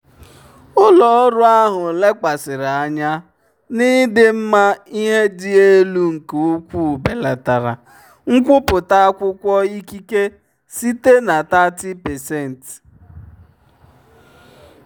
ụlọ ọrụ ahụ lekwasịrị anya n'ịdị mma ihe dị elu nke ukwuu belatara nkwupụta akwụkwọ ikike site na 30%.